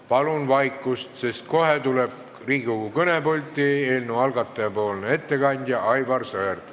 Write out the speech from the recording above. Palun vaikust, sest kohe tuleb Riigikogu kõnepulti eelnõu algataja ettekandja Aivar Sõerd.